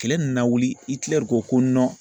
Kile nana wili Itilɛri ko ko